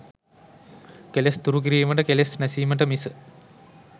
කෙලෙස් දුරු කිරීමට, කෙලෙස් නැසීමට මිස